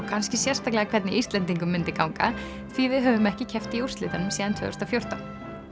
kannski sérstaklega hvernig Íslendingum myndi ganga því við höfðum ekki keppt í úrslitunum síðan tvö þúsund og fjórtán